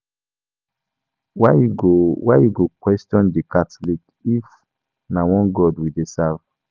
Why you go Why you go dey question the catholics if na one God we dey serve?